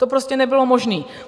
To prostě nebylo možné.